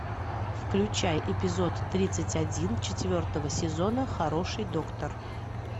включай эпизод тридцать один четвертого сезона хороший доктор